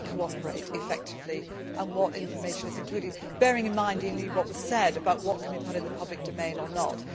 How we cooperate effectively and what information is included, bearing in mind indeed what was said about what can we put in the public domain or not.